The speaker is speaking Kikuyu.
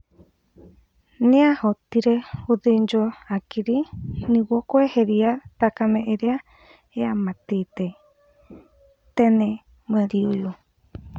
Nĩahotire gũthĩnjwo hakiri nĩguo kweheria thakame ĩrĩa yamatĩte, tene mweri ũyũ.